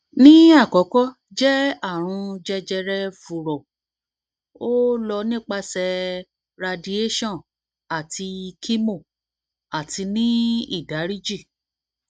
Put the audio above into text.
ni akọkọ jẹ arun jejere furo o lọ nipasẹ radiation ati chemo ati ni idariji